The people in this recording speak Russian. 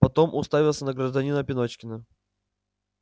потом уставился на гражданина пеночкина